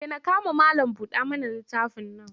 Dena kama malam-buɗa-mana-littafin nan.